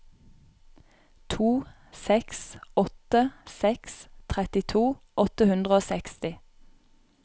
to seks åtte seks trettito åtte hundre og seksti